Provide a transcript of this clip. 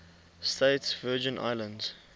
states virgin islands